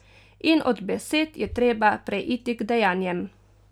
In od besed je treba preiti k dejanjem.